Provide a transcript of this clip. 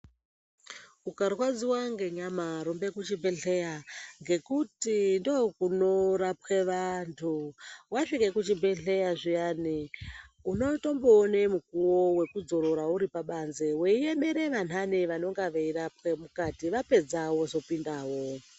Ukarwadziwa ngenyama rumbe kuchibhedhleya ngekuti ndookunorwapwe vantu. Wasvike kuchibhedhleya zviyani unotomboone mukuwo wekudzorora uri pabanze weiemera vantani vanonga veirwapwa mukati. Vapedza wozopindawo.